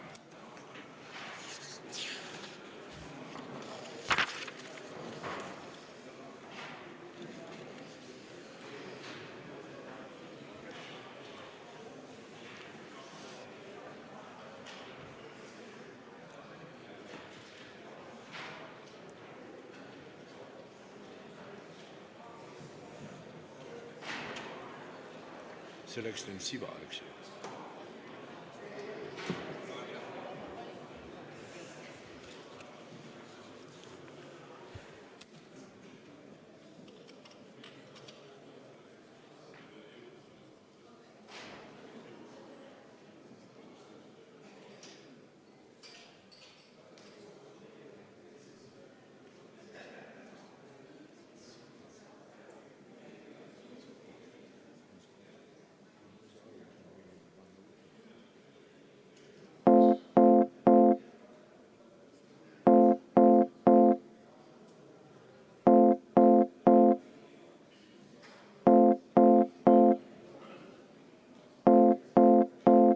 V a h e a e g